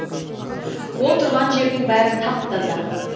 ол тұрған жердің бәрі тап таза